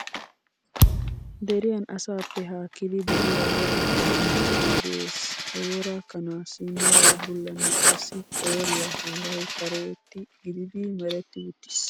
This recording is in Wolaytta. Deriyan asaappe haakkidi de'iyaa wora kanaa giyoogee de'es. He wora kanaassi meray bullanne qassi qooriyaa heeray kaertta gididi meretiwttis .